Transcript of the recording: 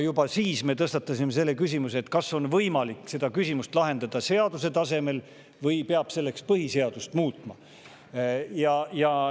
Juba siis me tõstatasime selle küsimuse, kas on võimalik seda lahendada seaduse tasemel või peab selleks põhiseadust muutma.